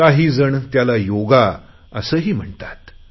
काहीजण त्याला योगा असेही म्हणतात